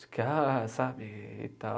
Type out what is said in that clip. De que, ah, sabe, e